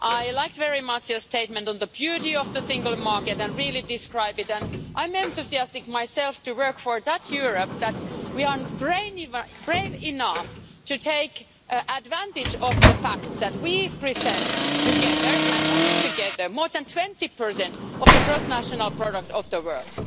I liked very much your statement on the beauty of the Single Market and really describe it, and I'm enthusiastic myself to work for that Europe, where we are brave enough to take advantage of the fact that we present together and only together more than 20 of the gross national product of the world.